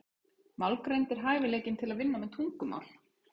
Málgreind er hæfileikinn til að vinna með tungumál.